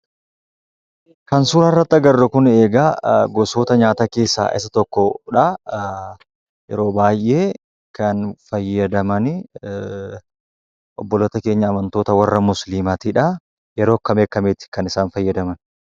Kan suuraa irratti agarru egaa, gosoota nyaataa keessaa isa tokkodha. Yeroo baayyee kan fayyadamanii obboloota keenya amantoota warra musiliimaatidhaa. Yeroo akkami akkamiiti kan isaan fayyadaman?